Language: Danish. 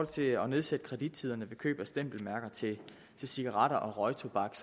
til at nedsætte kredittiderne ved køb af stempelmærker til cigaretter og røgtobak